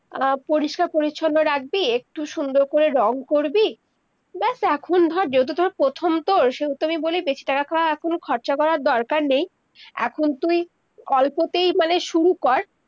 আহ পরিষ্কার পরিছন্ন রাখবি, একটু সুন্দর করে রং করবি, বেস এখন ধর যেহেতু তর প্রথম তো, সেইতো আমি বলেই দিয়েছি টাকা এখন খরচা করার দরকার নেই এখন তুই অল্পতেই মানে শুরু কর-